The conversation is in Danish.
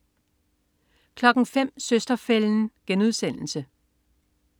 05.00 Søster-fælden*